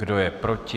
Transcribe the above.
Kdo je proti?